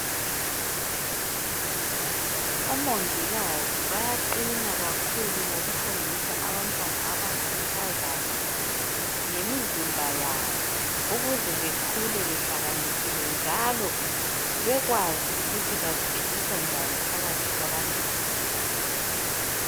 Omongikazi bayaqina kakhulu ngokufundisa abantwana abangamankazana ngemizimba yabo ukuze bekhule behlakaniphile njalo bekwazi ukuthi baziphilisa njani phakathi kwabanye abantu.